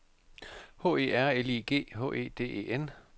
H E R L I G H E D E N